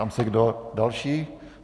Ptám se, kdo další.